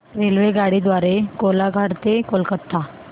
रेल्वेगाडी द्वारे कोलाघाट ते कोलकता